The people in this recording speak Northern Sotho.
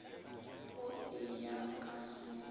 go e ya ka seemo